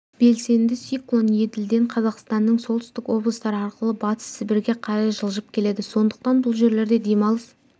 белсенді циклон еділден қазақстанның солтүстік облыстары арқылы батыс сібірге қарай жылжып келеді сондықтан бұл жерлерде демалыс